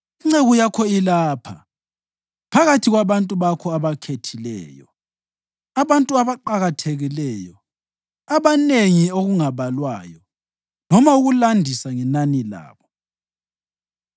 Inceku yakho ilapha phakathi kwabantu bakho obakhethileyo, abantu abaqakathekileyo, abanengi okungabalwayo noma ukulandisa ngenani labo.